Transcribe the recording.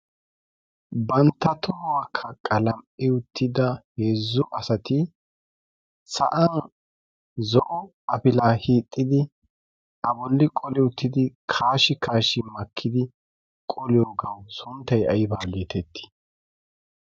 bantta tohwaakka qalam'i uttida heezzu asati sa'an zo'o afila hixxidi a bolli qoli uttidi kaashi kaashi makkidi qoliyo gawu sunttay aybaa giitettii?